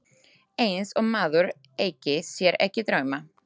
Eins og maður eigi sér ekki drauma!